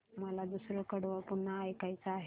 मला दुसरं कडवं पुन्हा ऐकायचं आहे